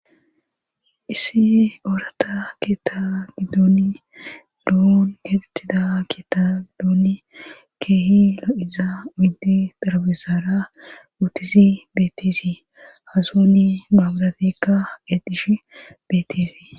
issi oorata keetagidooni lo7on yedettida ketadooni keehi lo7iza uddi darabisaara uutizi beeteesi hasooni maabaratekka edish beetesii